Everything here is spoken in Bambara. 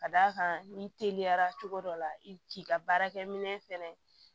Ka d'a kan n'i teliyara cogo dɔ la i k'i ka baarakɛminɛn fɛnɛ